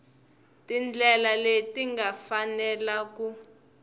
tindlela leti nga fanela ku